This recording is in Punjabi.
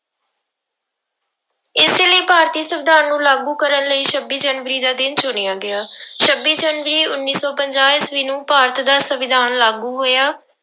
ਇਸੇ ਲਈ ਭਾਰਤੀ ਸੰਵਿਧਾਨ ਨੂੰ ਲਾਗੂ ਕਰਨ ਲਈ ਛੱਬੀ ਜਨਵਰੀ ਦਾ ਦਿਨ ਚੁਣਿਆ ਗਿਆ ਛੱਬੀ ਜਨਵਰੀ ਉੱਨੀ ਸੌ ਪੰਜਾਹ ਈਸਵੀ ਨੂੰ ਭਾਰਤ ਦਾ ਸੰਵਿਧਾਨ ਲਾਗੂ ਹੋਇਆ।